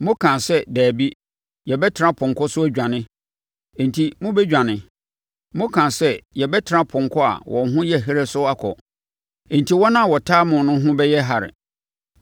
Mokaa sɛ, ‘Dabi, yɛbɛtena apɔnkɔ so adwane.’ Enti mobɛdwane! Mokaa sɛ, ‘yɛbɛtena apɔnkɔ a wɔn ho yɛ herɛ so akɔ.’ Enti wɔn a wɔtaa mo no ho bɛyɛ herɛ!